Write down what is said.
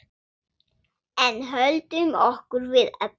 En höldum okkur við efnið.